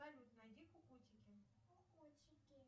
салют найди кукутики кукутики